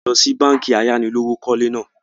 À lọ síí báànkì ayánilówókọ̀lé náà